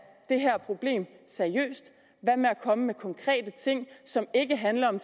det her problem seriøst hvad med at komme med konkrete ting som ikke handler om